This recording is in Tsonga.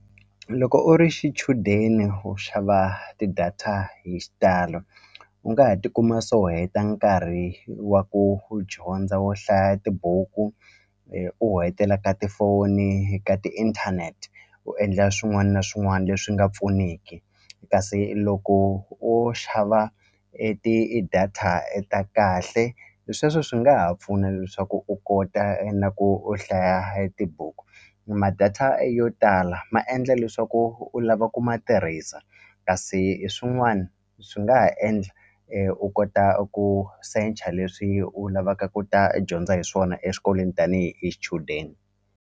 Loko u ri xichudeni u xava ti-data hi xitalo u nga ha tikuma se u heta nkarhi wa ku u dyondza wo hlaya tibuku u hetela ka tifoni ka tiinthanete u endla swin'wani na swin'wani leswi nga pfuniki kasi loko o xava e ti-data ta kahle hi sweswo swi nga ha pfuna leswaku u kota na ku u hlaya e tibuku ma data yo tala ma endla leswaku u lava ku ma tirhisa kasi swin'wani swi nga ha endla u kota ku search-a leswi u lavaka ku ta dyondza hi swona exikolweni tanihi hi xichudeni.